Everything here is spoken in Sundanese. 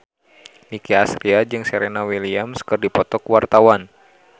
Nicky Astria jeung Serena Williams keur dipoto ku wartawan